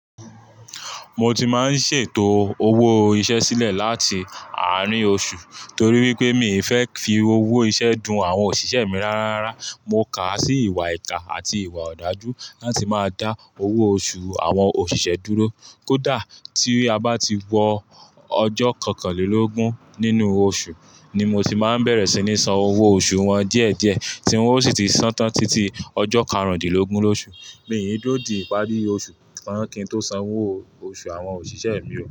Mo ti máa ń ṣètò owó iṣẹ́ sílẹ̀ láti àárín oṣù torí wípé mi ì fẹ́ fi owó iṣẹ́ dun àwọn òṣìṣẹ́ mi rárá. Mo kà á sí ìwà ìkà àti ìwà òdájú láti máa dá owó oṣù àwọn òṣìṣẹ́ dúró. Kódà tí a bá ti wọ ọjọ́ kọkànlélógún nínú oṣù ni mo ti máa ń bẹ̀rẹ̀ sí ní san owó oṣù wọn díẹ̀díẹ̀ tí wọ́n ó sì ti ṣantán títí ọjọ́ karùndínlógún lóṣù. Mi n dúro di ìpári osu tan kín tó san owó oṣù àwọn òṣìṣẹ́ mi o.